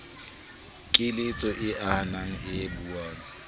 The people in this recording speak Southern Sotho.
keletso e ahang e buang